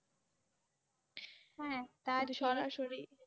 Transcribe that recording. হ্যাঁ